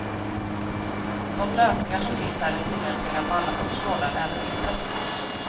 De lösningar som finns här är tillämpliga på alla sorters gårdar, även mindre.